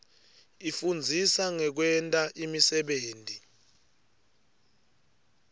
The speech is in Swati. ifundzisa ngekwenta imisebenti